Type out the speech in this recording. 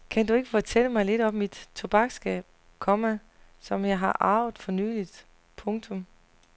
Kan du ikke fortælle mig lidt om mit tobaksskab, komma som jeg har arvet for nylig. punktum